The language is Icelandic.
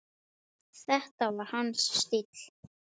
Þetta var hans stíll.